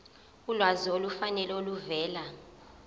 ulwazi olufanele oluvela